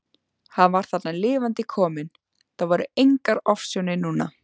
Hann var þarna lifandi kominn, það voru engar ofsjónir núna!